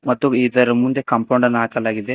ಮತ್ತು ಇದರ ಮುಂದೆ ಕಾಂಪೌಂಡನ್ನು ಹಾಕಲಾಗಿದೆ.